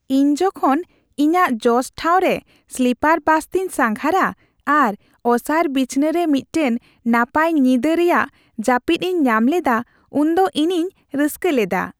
ᱤᱧ ᱡᱚᱠᱷᱚᱱ ᱤᱧᱟᱹᱜ ᱡᱚᱥᱴᱷᱟᱣ ᱨᱮ ᱥᱞᱤᱯᱟᱨ ᱵᱟᱥᱛᱤᱧ ᱥᱟᱸᱜᱷᱟᱨᱟ ᱟᱨ ᱚᱥᱟᱨ ᱵᱤᱪᱷᱱᱟᱹᱨᱮ ᱢᱤᱫᱴᱟᱝ ᱱᱟᱯᱟᱭ ᱧᱤᱫᱟᱹ ᱨᱮᱭᱟᱜ ᱡᱟᱹᱯᱤᱫ ᱤᱧ ᱧᱟᱢ ᱞᱮᱫᱟ ᱩᱱᱫᱚ ᱤᱧᱤᱧ ᱨᱟᱹᱥᱠᱟᱹ ᱞᱮᱫᱟ ᱾